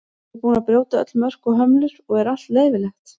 Erum við búin að brjóta öll mörk og hömlur og er allt leyfilegt?